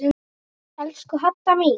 Elsku Hadda mín.